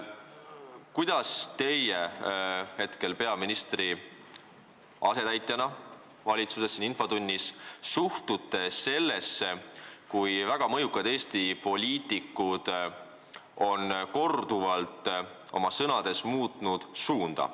Kuidas teie hetkel peaministri asetäitjana siin infotunnis suhtute sellesse, et väga mõjukad Eesti poliitikud on korduvalt sõnades suunda muutnud?